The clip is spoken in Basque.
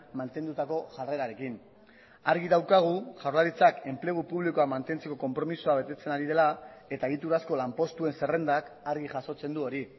mantendutako jarrerarekin argi daukagu jaurlaritzak enplegu publikoa mantentzeko konpromisoa betetzen ari dela eta egiturazko lanpostuen zerrendak argi jasotzen du hori